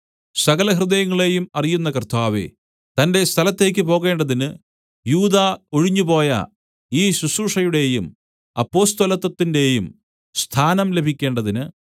സകല ഹൃദയങ്ങളെയും അറിയുന്ന കർത്താവേ തന്റെ സ്ഥലത്തേയ്ക്ക് പോകേണ്ടതിന് യൂദാ ഒഴിഞ്ഞുപോയ ഈ ശുശ്രൂഷയുടെയും അപ്പൊസ്തലത്വത്തിന്റെയും സ്ഥാനം ലഭിക്കേണ്ടതിന്